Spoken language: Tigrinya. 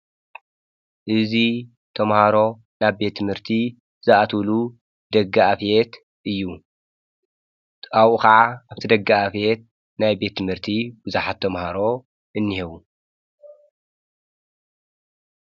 እዙይ ተምሃሮ ናብ ቤት ምህርቲ ዝኣትውሉ ደገኣፍቤት እዩ ኣብኡ ኸዓ ኣብቲ ደጋ ኣፍቤት ናይ ቤት ምህርቲ ብዙሃት ተምሃሮ እነአዉ።